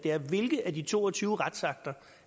hvilke af de to og tyve retsakter